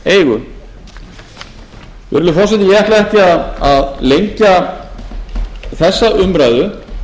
virðulegi forseti ég ætla ekki að lengja þessa umræðu og